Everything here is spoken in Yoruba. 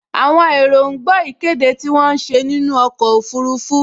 Àwọn èrò ń gbọ́ ìkéde tí wọ́n ń ṣe nínú ọkọ̀ ọfurufú